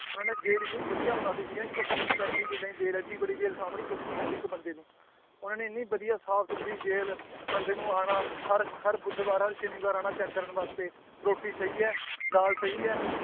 ਉਹਨਾਂ ਨੇ ਜੇਲ੍ਹ ਇੰਨੀ ਵਧੀਆ ਬਣਾ ਦਿੱਤੀ ਸੀਗੀ ਨਾ ਇੱਕ ਪੈਂ~ ਪੈਂਤੀ ਕਿੱਲਿਆ ਦੀ ਜੇਲ੍ਹ ਹੈ ਏਡੀ ਵੱਡੀ ਜੇਲ੍ਹ ਸਾਂਭਣੀ ਸੌਖੀ ਨੀ ਹੁੰਦੀ ਇੱਕ ਬੰਦੇ ਨੂੰ ਉਹਨਾ ਨੇ ਇੰਨੀ ਵਧੀਆ ਸਾਫ਼ ਸੁੱਥਰੀ ਜੇਲ੍ਹ ਬੰਦੇ ਨੂੰ ਆਉਣਾ ਹਰ ਹਰ ਬੁੱਧਵਾਰ ਹਰ ਸ਼ਨੀਵਾਰ ਆਉਣਾ check ਕਰਨ ਵਾਸਤੇ ਰੋਟੀ ਸਹੀ ਹੈ ਦਾਲ ਸਹੀ ਹੈ